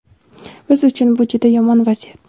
Biz uchun bu juda yomon vaziyat.